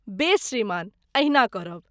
बेस श्रीमान, एहिना करब।